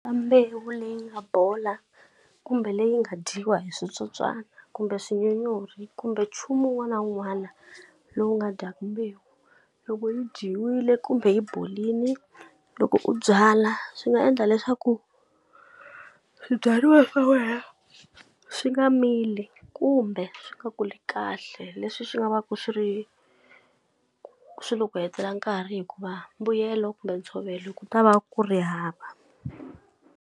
Ka mbewu leyi nga bola kumbe leyi nga dyiwa hi switsotswani, kumbe swinyonyori, kumbe nchumu wun'wana na wun'wana lowu nga dyaka mbewu, loko yi dyiwile kumbe yi borile loko u byala swi nga endla leswaku swibyariwa swa wena swi nga mili kumbe swi nga kuli kahle. Leswi swi nga va ku swo ri swi lo ku hetela nkarhi hikuva mbuyelo kumbe ntshovelo ku ta va ku ri hava.